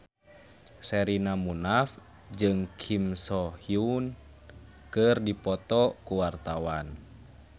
Sherina Munaf jeung Kim So Hyun keur dipoto ku wartawan